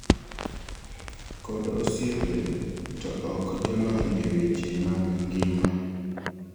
kod osiepe to ok jolony e weche mag ngima